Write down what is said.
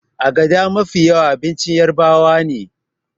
agada Mafi yawa abincin yarabawane